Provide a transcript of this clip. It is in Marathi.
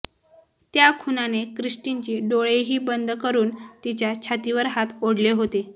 त्या खुन्याने क्रिस्टिनची डोळेही बंद करून तिच्या छातीवर हात ओढले होते